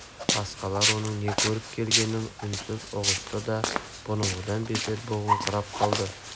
басқалар оның не көріп келгенін үнсіз ұғысты да бұрынғыдан бетер бұғыңқырап қалды